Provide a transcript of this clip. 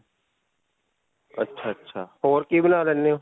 ਅੱਛਾ. ਅੱਛਾ. ਹੋਰ ਕੀ ਬਣਾ ਲੈਂਦੇ ਹੋ?